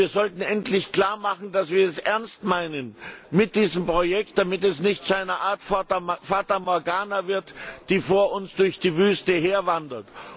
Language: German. Und wir sollten endlich klarmachen, dass wir es ernst meinen mit diesem Projekt, damit es nicht zu einer Art Fata Morgana wird, die vor uns her durch die Wüste wandert.